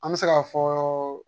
An bɛ se k'a fɔ